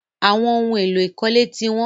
Àwọn ohun-èlò ìkọ́lé ti wọ́n.